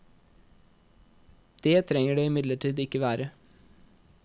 Det trenger det imidlertid ikke være.